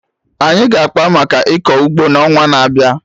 Anyị ga-akpa maka ịkọ ụgbọ na ọnwa n'abịa